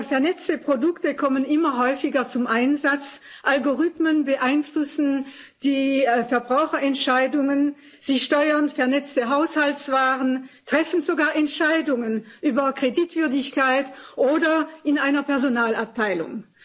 Vernetzte Produkte kommen immer häufiger zum Einsatz, Algorithmen beeinflussen die Verbraucherentscheidungen, sie steuern vernetzte Haushaltswaren, treffen sogar Entscheidungen über Kreditwürdigkeit oder in einer Personalabteilung.